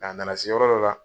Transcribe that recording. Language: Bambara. A nana se yɔrɔ dɔ la.